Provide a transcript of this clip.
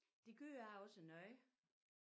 Det gør jeg også noget